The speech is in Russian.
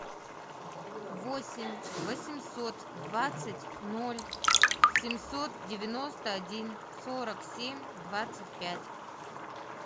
восемь восемьсот двадцать ноль семьсот девяносто один сорок семь двадцать пять